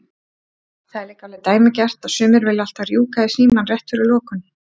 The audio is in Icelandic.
Það er líka alveg dæmigert að sumir vilja alltaf rjúka í símann rétt fyrir lokun.